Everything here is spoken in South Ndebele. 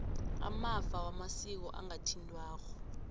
amafa wamasiko angathintwako